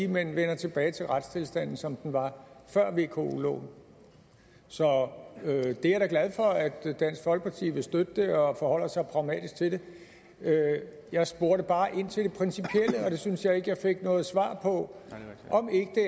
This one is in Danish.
man vender tilbage til retstilstanden som den var før vko loven så jeg er da glad for at dansk folkeparti vil støtte det og forholder sig pragmatisk til det jeg spurgte bare ind til det principielle og det synes jeg ikke jeg fik noget svar på